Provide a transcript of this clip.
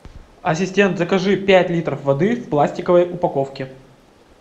ассистент закажи пять литров воды в пластиковой упаковке